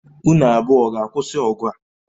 Unu abụọ ọ ga-akwụsị ọgụ a?